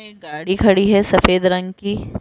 एक गाड़ी खड़ी है सफेद रंग की।